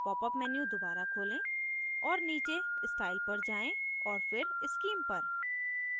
popअप menu दोबारा खोलें और नीचे style पर जाएँ फिर scheme पर